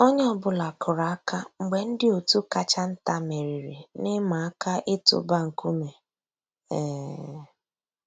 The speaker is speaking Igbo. Ónyé ọ̀ bụ́là kùrù àkà mg̀bé ndị́ ótú kàchà ntá mèrírí n'ị̀màà àká ị̀tụ́bà nkúmé. um